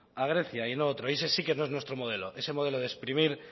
a grecia y no otro y ese sí que no es nuestro modelo ese modelo de exprimir